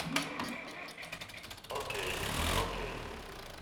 окей окей